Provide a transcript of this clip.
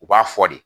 U b'a fɔ de